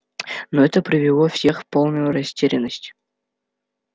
но это привело всех в полную растерянность